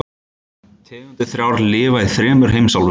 Tegundirnar þrjár lifa í þremur heimsálfum.